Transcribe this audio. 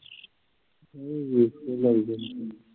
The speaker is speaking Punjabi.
ਨਹੀਂ ਵੇਖ ਕੇ ਲਾਈਦਾ ਸੀ phone